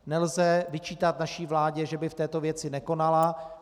Nelze vyčítat naší vládě, že by v této věci nekonala.